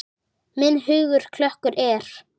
Minn hugur klökkur er.